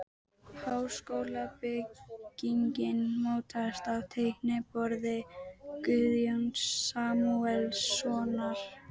Háskólabyggingin mótast á teikniborði Guðjóns Samúelssonar.